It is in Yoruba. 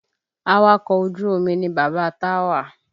Awakọ̀ ojú omi ni bàbá Táwà